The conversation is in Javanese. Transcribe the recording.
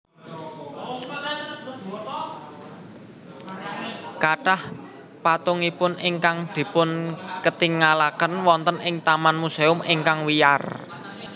Kathah patungipun ingkang dipunketingalaken wonten ing taman musèum ingkang wiyar